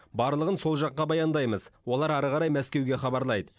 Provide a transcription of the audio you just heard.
барлығын сол жаққа баяндаймыз олар әрі қарай мәскеуге хабарлайды